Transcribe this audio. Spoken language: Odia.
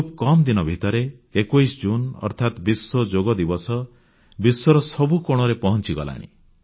ଖୁବ୍ କମ୍ ଦିନ ଭିତରେ 21 ଜୁନ୍ ଅର୍ଥାତ୍ ବିଶ୍ୱଯୋଗ ଦିବସ ବିଶ୍ୱର ସବୁ କୋଣରେ ପହଂଚିଗଲାଣି